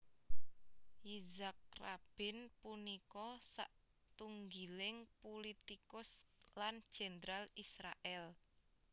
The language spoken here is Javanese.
Yitzhak Rabin punika satunggiling pulitikus lan jendral Israèl